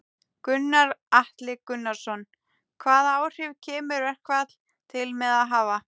Gunnar Atli Gunnarsson: Hvaða áhrif kemur verkfall til með að hafa?